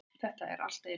Þetta er allt eins.